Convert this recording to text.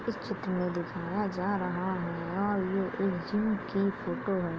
इस चित्र में दिखाया जा रहा है | यह एक जिम की फोटो है।